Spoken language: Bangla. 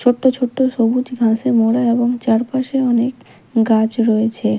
ছোট্ট ছোট্ট সবুজ ঘাসে মোড়া এবং চারপাশে অনেক গাছ রয়েছে।